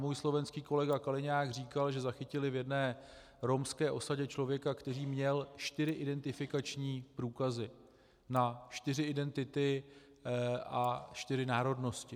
Můj slovenský kolega Kaliňák říkal, že zachytili v jedné romské osadě člověka, který měl čtyři identifikační průkazy na čtyři identity a čtyři národnosti.